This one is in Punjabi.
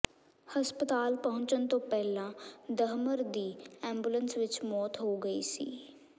ਹਸਪਤਾਲ ਪਹੁੰਚਣ ਤੋਂ ਪਹਿਲਾਂ ਦਹਮਰ ਦੀ ਐਂਬੂਲੈਂਸ ਵਿਚ ਮੌਤ ਹੋ ਗਈ ਸੀ